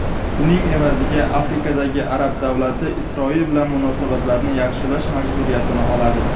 Buning evaziga Afrikadagi arab davlati Isroil bilan munosabatlarni yaxshilash majburiyatini oladi.